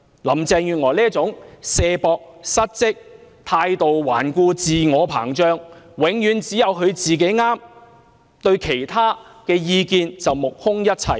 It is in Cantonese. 林鄭月娥推卸責任、失職、態度頑固、自我膨脹，永遠只有她是對的，對其他意見則目空一切。